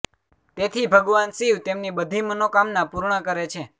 તેથી ભગવાન શિવ તેમની બધી મનોકામના પૂર્ણ કરે છે